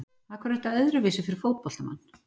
Af hverju er þetta öðruvísi fyrir fótboltamann?